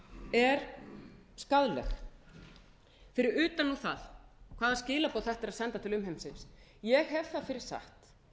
er skaðleg fyrir utan nú það hvaða skilaboð þetta er að senda til umheimsins ég hef það fyrir satt